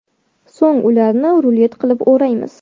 So‘ng ularni rulet qilib o‘raymiz.